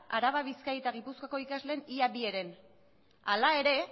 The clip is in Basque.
araba bizkaia eta gipuzkoako ikasleen ia bi heren ala ere